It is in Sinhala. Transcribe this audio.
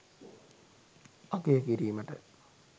අගය කිරීමට